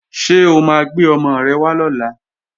Ṣé o máa gbé ọmọ rẹ wá lọ́la?